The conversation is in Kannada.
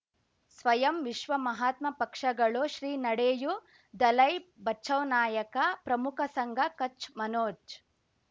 ಸ್ವಯಂ ವಿಶ್ವ ಮಹಾತ್ಮ ಪಕ್ಷಗಳು ಶ್ರೀ ನಡೆಯೂ ದಲೈ ಬಚೌ ನಾಯಕ ಪ್ರಮುಖ ಸಂಘ ಕಚ್ ಮನೋಜ್